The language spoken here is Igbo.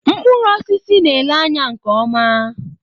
Mkpụrụ osisi na-ele anya nke ọma.